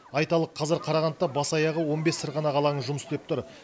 айталық қазір қарағандыда бас аяғы он бес сырғанақ алаңы жұмыс істеп тұр